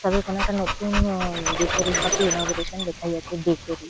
তবে কোনো একটা নতুন আ- বেকারি শপ -এ ইনগরেশন লেখাই আছে বেকারি ।